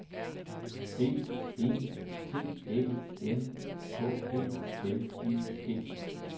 B E T Æ N K E L I G